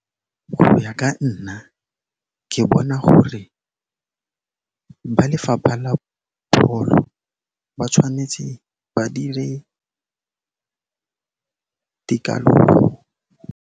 Go ya ka nna, ke bona gore ba lefapha la pholo ba tshwanetse ba dire .